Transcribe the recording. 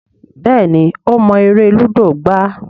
Béèni o mo èrè ludo gbà.